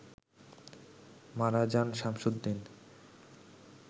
মারা যান শামসুদ্দিন